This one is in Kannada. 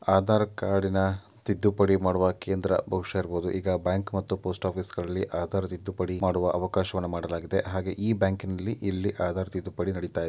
ಆಧಾರ್ ಕಾರ್ಡಿನ ತಿದ್ದುಪಡಿ ಮಾಡುವ ಕೇಂದ್ರ ಬಹುಶ ಇರಬಹುದು ಈಗ ಬ್ಯಾಂಕ್ ಮತ್ತು ಪೋಸ್ಟ್ ಆಫೀಸ್ಗಳಲ್ಲಿ ಆಧಾರ್ ತಿದ್ದುಪಡಿ ಮಾಡುವ ಅವಕಾಶಗಳನ್ನು ಮಾಡಲಾಗಿದೆ ಹಾಗೆ ಈ ಬ್ಯಾಂಕಿನಲ್ಲಿ ಇಲ್ಲಿ ಆಧಾರ್ ತಿದ್ದುಪಡಿ ನಡಿತಾಯಿದೆ.